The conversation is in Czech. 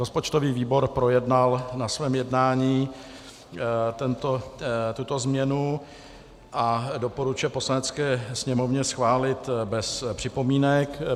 Rozpočtový výbor projednal na svém jednání tuto změnu a doporučuje Poslanecké sněmovně schválit bez připomínek.